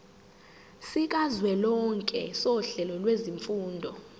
sikazwelonke sohlelo lwezifundo